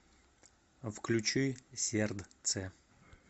включи сердце